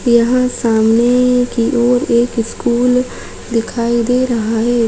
यहाँ सामने की ओर एक स्कूल दिखाई दे रहा है।